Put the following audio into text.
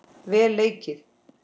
Vel leikið.